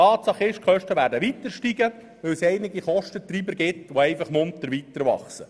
Tatsache ist, die Kosten werden weiter ansteigen, weil es einige Kostentreiber gibt, die einfach munter weiterwachsen.